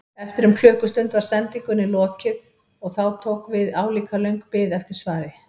Eftir um klukkustund var sendingunni lokið og þá tók við álíka löng bið eftir svari.